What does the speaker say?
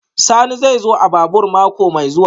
Sani zai zo a babur mako mai zuwa